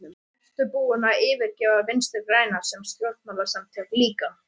Ertu búinn að yfirgefa Vinstri-græna sem stjórnmálasamtök líka?